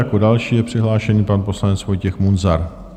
Jako další je přihlášený pan poslanec Vojtěch Munzar.